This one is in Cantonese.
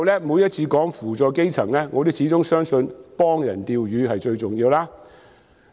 每次談及扶助基層的時候，我始終相信"幫人釣魚"是最重要的。